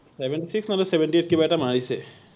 seventy six নহলে seventy eight কিবা এটা মাৰিছে৷